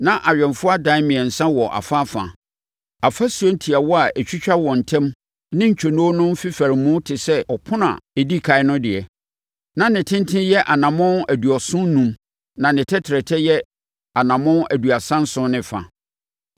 Na awɛmfoɔ adan a mmiɛnsa wɔ afaafa, afasuo ntiawa a ɛtwitwa wɔn ntam ne ntwonoo no mfefaremu te sɛ ɔpono a ɛdi ɛkan no deɛ. Na ne tenten yɛ anammɔn aduɔson enum na ne tɛtrɛtɛ yɛ anammɔn aduasa nson ne fa.